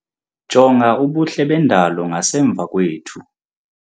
Jonga ubuhle bendalo ngasemva kwethu.